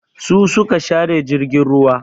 Su su ka share jirgin ruwa.